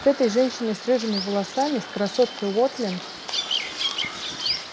с этой женщиной с рыжими волосами с красоткой уотлинг